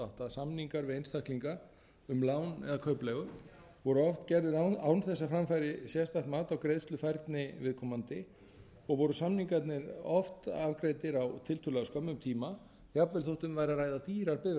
samningar við einstaklinga um lán eða kaupleigu voru oft gerðir án þess að fram færi sérstakt mat á greiðslufærni viðkomandi og samningarnir oft afgreiddir á tiltölulega skömmum tíma jafnvel þótt um væri að ræða dýrar